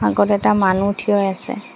আগত এটা মানুহ থিয় হৈ আছে।